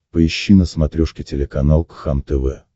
поищи на смотрешке телеканал кхлм тв